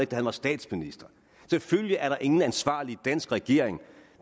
da han var statsminister selvfølgelig er der ingen ansvarlig dansk regering